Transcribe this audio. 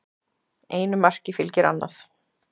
Einu marki fylgir annað